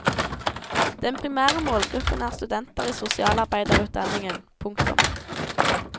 Den primære målgruppen er studenter i sosialarbeiderutdanningen. punktum